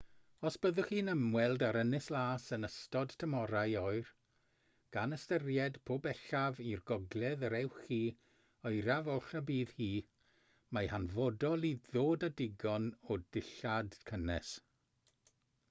os byddwch chi'n ymweld â'r ynys las yn ystod tymhorau oer gan ystyried po bellaf i'r gogledd yr ewch chi oeraf oll y bydd hi mae'n hanfodol i ddod â digon o ddillad cynnes